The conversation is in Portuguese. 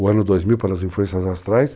O ano 2000, pelas influências astrais,